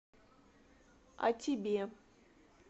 о тебе